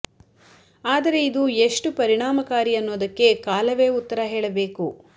ಆದರೆ ಇದು ಎಷ್ಟು ಪರಿಣಾಮ ಕಾರಿ ಅನ್ನೋದಕ್ಕೆ ಕಾಲವೇ ಉತ್ತರ ಹೇಳಬೇಕು